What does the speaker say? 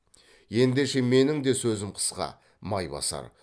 ендеше менің де сөзім қысқа майбасар